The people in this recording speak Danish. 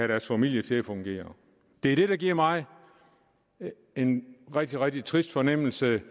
deres familie til at fungere det er det der giver mig en rigtig rigtig trist fornemmelse